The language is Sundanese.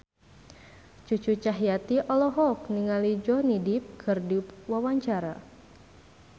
Cucu Cahyati olohok ningali Johnny Depp keur diwawancara